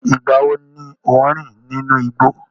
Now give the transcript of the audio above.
Ìgbà wo ni o n rin nínú igbó?